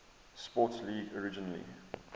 sports league originally